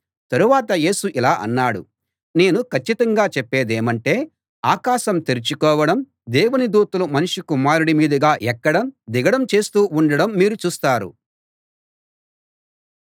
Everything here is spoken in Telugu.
తరువాత యేసు ఇలా అన్నాడు నేను కచ్చితంగా చెప్పేదేమంటే ఆకాశం తెరుచుకోవడం దేవుని దూతలు మనుష్య కుమారుడి మీదుగా ఎక్కడం దిగడం చేస్తూ ఉండడం మీరు చూస్తారు